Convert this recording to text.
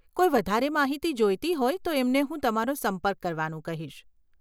કોઈ વધારે માહિતી જોઈતી હોય તો એમને હું તમારો સંપર્ક કરવાનું કહીશ.